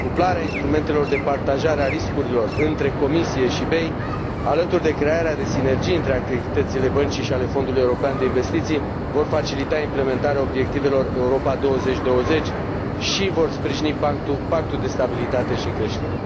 Cuplarea instrumentelor de partajare a riscurilor între Comisie și BEI, alături de crearea de sinergii între activitățile băncii și ale Fondului european de investiții, vor facilita implementarea obiectivelor Europa 2020 și vor sprijini Pactul de stabilitate și de creștere.